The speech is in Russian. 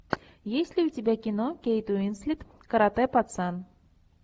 есть ли у тебя кино кейт уинслет карате пацан